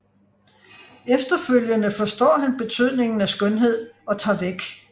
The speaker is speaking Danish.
Efterfølgende forstår han betydningen af skønhed og tager væk